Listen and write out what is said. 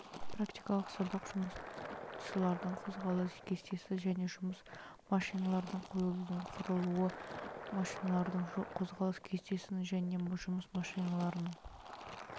практикалық сабақ жұмысшылардың қозғалыс кестесін және жұмыс машиналарының қойылуының құрылуы жұмысшылардың қозғалыс кестесін және жұмыс машиналарының